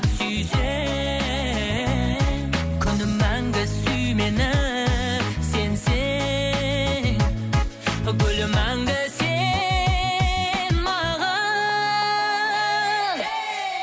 сүйсең күнім мәңгі сүй мені сенсең гүлім мәңгі сен маған ей